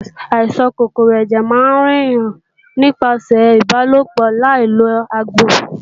Àìsàn kòkòrò ẹ̀jẹ̀ máa ń ràn yàn nípasẹ̀ ìbálòpọ̀ láì lo ààbò